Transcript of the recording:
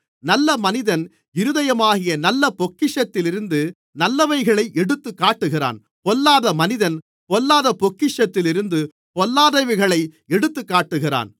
நல்ல மனிதன் இருதயமாகிய நல்ல பொக்கிஷத்திலிருந்து நல்லவைகளை எடுத்துக்காட்டுகிறான் பொல்லாத மனிதன் பொல்லாத பொக்கிஷத்திலிருந்து பொல்லாதவைகளை எடுத்துக்காட்டுகிறான்